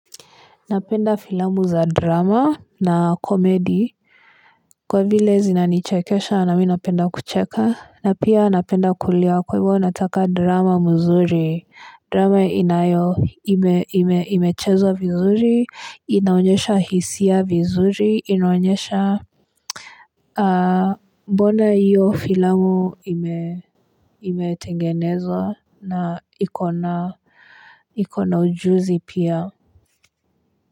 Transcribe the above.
Napenda filamu za drama na komedi Kwavile zina nichekesha na mi napenda kucheka. Na pia napenda kulia kwa hivyo nataka drama mzuri. Drama inayo ime ime imechezwa vizuri inaonyesha hisia vizuri inaonyesha. Bona iyo filamu ime ime tengenezwa na ikona ikona ujuzi pia kwa hivyo.